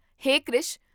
ਹੇ Krish!